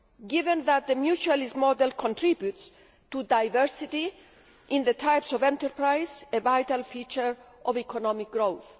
given that the mutualist model contributes to diversity in the types of enterprise a vital feature of economic growth.